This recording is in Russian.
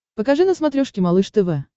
покажи на смотрешке малыш тв